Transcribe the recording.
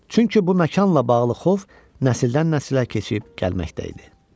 Çünki bu məkanla bağlı xof nəsildən-nəsilə keçib gəlməkdə idi.